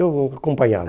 Eu acompanhava.